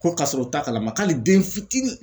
Ko kasɔrɔ u t'a kalama k'ali den fitini